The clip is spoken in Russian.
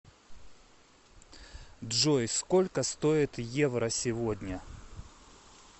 джой сколько стоит евро сегодня